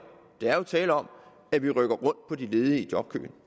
der er jo tale om at vi rykker rundt på de ledige i jobkøen